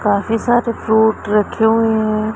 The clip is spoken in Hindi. काफी सारे फ्रूट रखे हुए हैं।